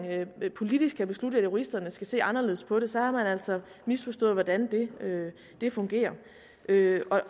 politisk kan beslutte at juristerne skal se anderledes på det så har man altså misforstået hvordan det fungerer derfor